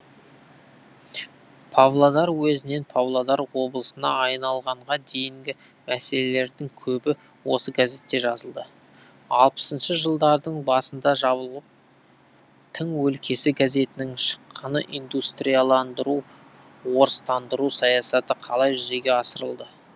павлодар уезінен павлодар облысына айналғанға дейінгі мәселелердің көбі осы газетте жазылды алпысыншы жылдардың басында жабылып тың өлкесі газетінің шыққаны индустрияландыру орыстандыру саясаты қалай жүзеге асырылды